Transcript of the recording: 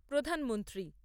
প্রধানমন্ত্রী